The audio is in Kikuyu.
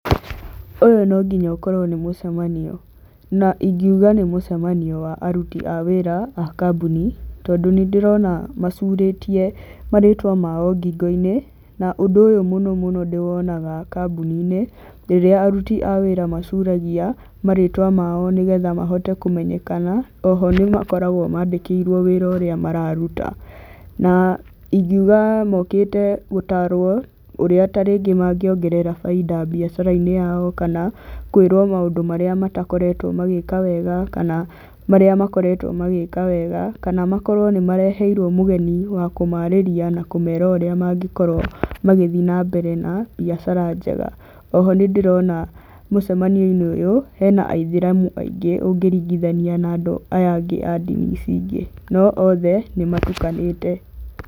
Ũyũ nonginya ũkorwo nĩ mũcemanio. Na ingiuga nĩ mũcemanio wa aruti a wĩra a kambuni, tondũ nĩ ndĩrona macurĩtie marĩtwa mao ngingo-inĩ, na ũndũ ũyũ ndĩwona kaingĩ kambuni-inĩ, rĩrĩa aruti a wĩra macuragia marĩtwa mao ngingo-inĩ nĩgetha mahote kũmenyekana, oho nĩ makoragwo mandĩkĩirwo wĩra ũrĩa mararuta. Na ingiuga mokĩte gũtarwo ũrĩa tarĩngĩ mangĩongerera bainda mbiacara-inĩ yao, kana kũĩrwo maũndũ marĩa matakoretwo magĩka wega, kana marĩa makoretwo magĩka wega, kana makorwo nĩ mareheirwo mũgeni wa kũmarĩrĩa na kũmera ũrĩa mangĩkorwo magĩthiĩ mbere na mbiacara njenga. Oho nĩ ndĩrona mũcemanio-inĩ ũyũ, hena aithĩramu aingĩ ũngĩringithania na aya angĩ a ndini ici ingĩ, no othe nĩ matukanĩte.